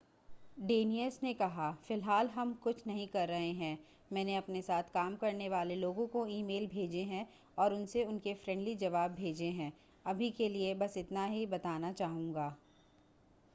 डेनियस ने कहा फ़िलहाल हम कुछ नहीं कर रहे हैं मैंने अपने साथ काम करने वाले लोगों को ईमेल भेजे हैं और उसने उनके फ्रेंडली जवाब भेजे हैं अभी के लिए बस इतना ही बताना चाहूंगा